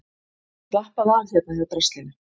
Slappaðu af hérna hjá draslinu.